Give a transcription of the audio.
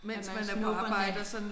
At man snupper en